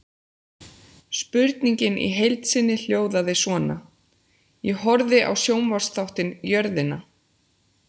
Spurningin í heild sinni hljóðaði svona: Ég horfði á sjónvarpsþáttinn Jörðina.